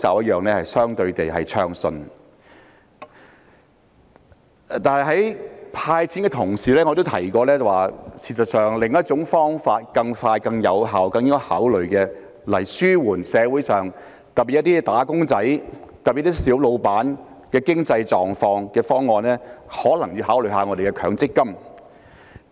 可是，在"派錢"的同時，我也提過有另一種更快、更有效及更應該考慮的方案，可紓緩社會上特別是"打工仔"及小老闆的經濟狀況，那就是可能需要考慮一下強制性公積金計劃。